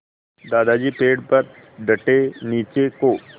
दादाजी पेड़ पर डटे नीचे को